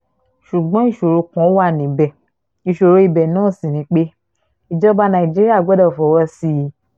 ṣùgbọ́n ìṣòro kan wà níbẹ̀ ìṣòro ibẹ̀ ná sí ni pé ìjọba nàìjíríà gbọ́dọ̀ fọwọ́ sí i